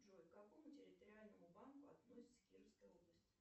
джой к какому территориальному банку относится кировская область